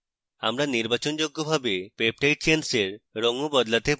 আমরা নির্বাচনযোগ্যভাবে peptide chains we রঙও বদলাতে পারি